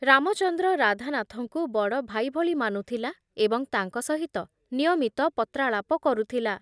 ରାମଚନ୍ଦ୍ର ରାଧାନାଥଙ୍କୁ ବଡ଼ ଭାଇ ଭଳି ମାନୁଥିଲା ଏବଂ ତାଙ୍କ ସହିତ ନିୟମିତ ପତ୍ରାଳାପ କରୁଥିଲା ।